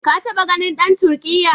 Ka taɓa ganin dan Turkiyya?